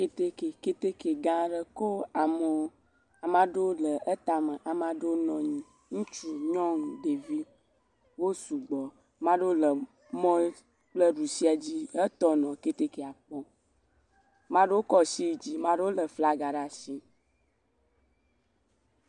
kɛtɛkɛ kɛtɛkɛ gã aɖe kó amewo maɖewo le etame amaɖewo nɔnyi ŋutsu nyɔŋu ɖevi wó sugbɔ maɖewo le mɔ ƒe ɖusia dzi he tɔ nɔ kɛtɛkɛa kpɔm